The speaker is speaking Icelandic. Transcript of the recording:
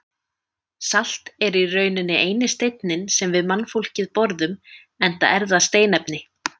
Salt er í rauninni eini steinninn sem við mannfólkið borðum enda er það steinefni.